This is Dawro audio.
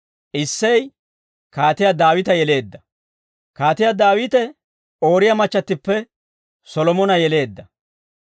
Issey Kaatiyaa Daawita yeleedda. Kaatiyaa Daawite, Ooriyaa machchattippe Solomona yeleedda.